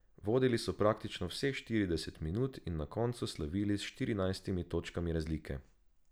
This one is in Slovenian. Vodili so praktično vseh štirideset minut in na koncu slavili s štirinajstimi točkami razlike.